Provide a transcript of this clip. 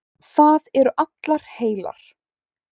Það eru allar heilar.